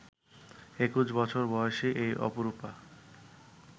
২১ বছর বয়সী এই অপরূপা